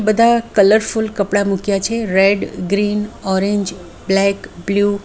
બધા કલરફુલ કપડા મૂક્યા છે red green orange black blue .